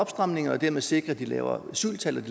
stramninger og dermed sikre de lavere asyltal